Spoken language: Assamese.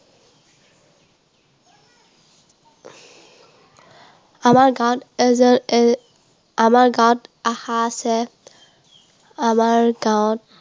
আমাৰ গাঁৱত আমাৰ গাঁৱত আশা আছে। আমাৰ গাঁৱত